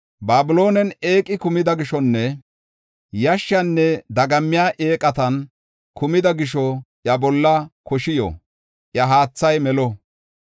Babiloonen eeqi kumida gishonne dagamman kokoriya eeqati de7iya gisho; iya haathay melo; iya bolla koshi yo.